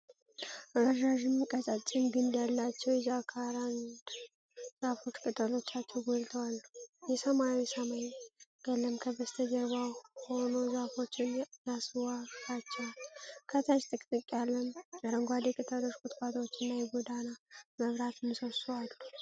ረዣዥም፣ ቀጫጭን ግንድ ያላቸው የጃካራንዳ ዛፎች ቅጠሎቻቸው ጎልተው አሉ። የሰማይ ሰማያዊ ቀለም ከበስተጀርባ ሆኖ ዛፎቹን ያስዋባቸዋል። ከታች ጥቅጥቅ ያለ የአረንጓዴ ቅጠሎች ቁጥቋጦና የጎዳና መብራት ምሰሶ አሉ።